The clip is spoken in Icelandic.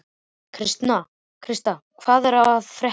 Kristian, hvað er að frétta?